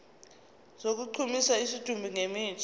sokugqumisa isidumbu ngemithi